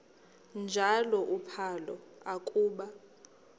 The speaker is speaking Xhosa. njalo uphalo akuba